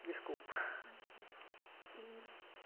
Desculpa. Não tudo bem e